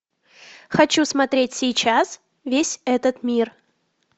хочу смотреть сейчас весь этот мир